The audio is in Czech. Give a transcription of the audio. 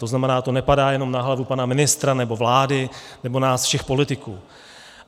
To znamená, to nepadá jenom na hlavu pana ministra nebo vlády nebo nás všech politiků.